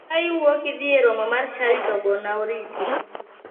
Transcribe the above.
Ka iwuok idhi e romo mar chadi to gona oriti.